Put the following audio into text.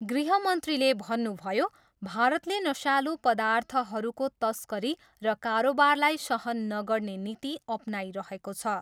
गृहमन्त्रीले भन्नुभयो, भारतले नसालु पदार्थहरूको तस्करी र कारोबारलाई सहन नगर्ने नीति अपनाइरहेको छ।